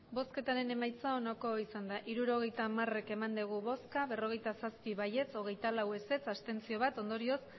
emandako botoak hirurogeita hamabi bai berrogeita zazpi ez hogeita lau abstentzioak bat ondorioz